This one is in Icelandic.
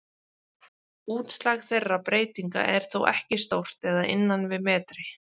Útslag þeirra breytinga er þó ekki stórt eða innan við metri.